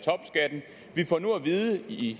vide i